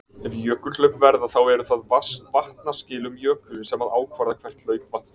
Ef jökulhlaup verða þá eru það vatnaskil um jökulinn sem að ákvarða hvert hlaupvatn fer.